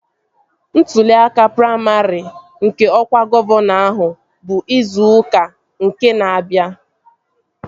Ntụli aka praimarị nke ọkwa gọvanọ ahụ bụ izu ụka na-abịa